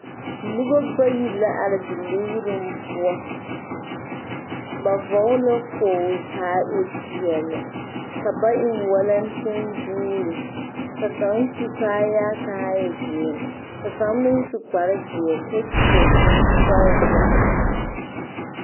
Noba bayi la are ziligruŋ poɔ ba vɔgle la kpogli k,a e peɛle ka ba eŋ walɛnteŋ booti ka kaŋ su kaayaa k,a e zeere ka kaŋ meŋ su kparezeɛ kyɛ seɛ kurisɔglaa.